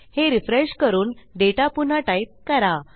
हे रिफ्रेश करून डेटा पुन्हा टाईप करा